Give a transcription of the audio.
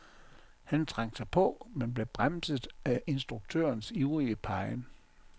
Han trængte sig på, men blev bremset af instruktørens ivrige pegen.